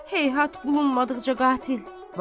Heyhat bulunmadıqca qatil.